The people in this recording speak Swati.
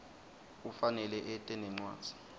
ufanele ete nencwadzi